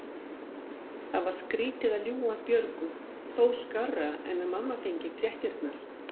Það var skrýtið að ljúga að Björgu, þó skárra en að mamma fengi fréttirnar.